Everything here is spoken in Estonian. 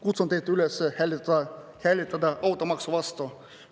Kutsun teid üles hääletama automaksu vastu.